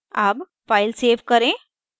अब file save करें